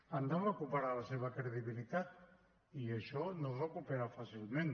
han de recuperar la seva credibilitat i això no es recupera fàcilment